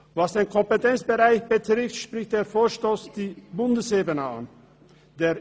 Was den Kompetenzbereich betrifft, spricht der Vorstoss die Bundesebene an.